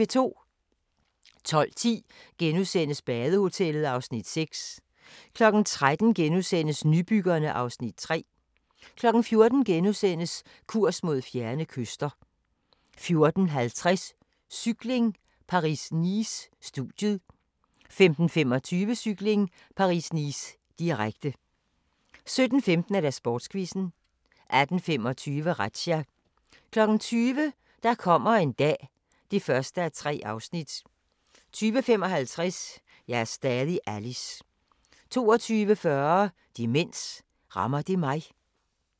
12:10: Badehotellet (Afs. 6)* 13:00: Nybyggerne (Afs. 3)* 14:00: Kurs mod fjerne kyster * 14:50: Cykling: Paris-Nice - studiet 15:25: Cykling: Paris-Nice, direkte 17:15: Sportsquizzen 18:25: Razzia 20:00: Der kommer en dag (1:3) 20:55: Jeg er stadig Alice 22:40: Demens – rammer det mig?